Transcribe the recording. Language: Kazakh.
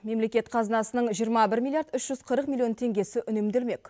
мемлекет қазынасының жиырма бір миллиард үш жүз қырық миллион теңгесі үнемделмек